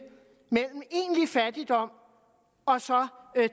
mellem egentlig fattigdom og så